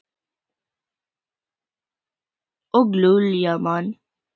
Og Júlía man.